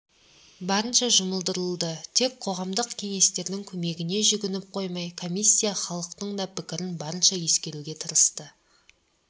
барынша жұмылдырылды тек қоғамдық кеңестердің көмегіне жүгініп қоймай комиссия халықтың да пікірін барынша ескеруге тырысты